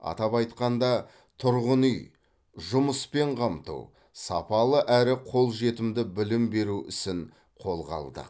атап айтқанда тұрғын үй жұмыспен қамту сапалы әрі қолжетімді білім беру ісін қолға алдық